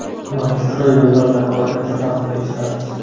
Magistral yo‘llardagi halokatlar haqida eshitamiz.